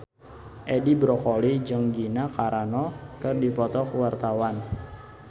Edi Brokoli jeung Gina Carano keur dipoto ku wartawan